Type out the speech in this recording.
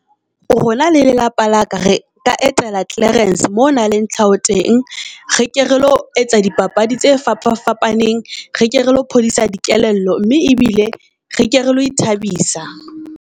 Rona le lelapa la ka, re ka etela Klearance mo ho nang le tlhaho teng, re ke re lo etsa di papadi tse fapafapaneng, re ke re lo phodisa di kelello mme e bile re ke re lo ithabisa.